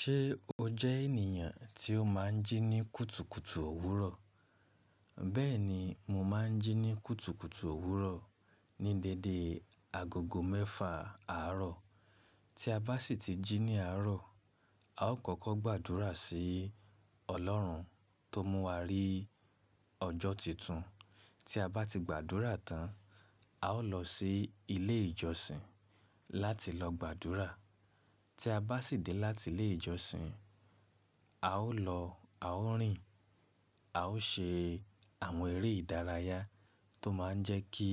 Ṣé o jẹ ènìyàn tí ó máa ń jí ní kùtùkùtù òwúrọ̀? Bẹ́ẹ̀ni, mo máa ń jí ní kùtùkùtù òwúrọ̀ ní dédé agogo mẹ́fà àárọ̀. Tí a bá sì ti jí ní àárọ̀, a ó kọ́kọ́ gbàdúrà sí ọlọ́run tó mú wa rí ọjọ́ titun. Tí a bá ti gbàdúrà tán, a ó lọ sí ilé ìjọsìn láti lọ gbàdúrà. Tí a bá sì dé láti ilé ìjọsìn, a ó lọ a ó rìn, a ó ṣe àwọn eré ìdárayá tó máa ń jẹ́ kí